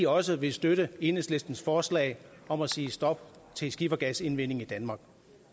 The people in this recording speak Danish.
også vil støtte enhedslistens forslag om at sige stop til skifergasindvinding i danmark